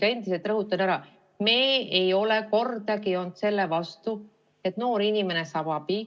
Ja ma endiselt rõhutan, et me ei ole kordagi olnud selle vastu, et noor inimene saab abi.